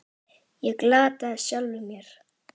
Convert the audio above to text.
Ég glataði sjálfum mér.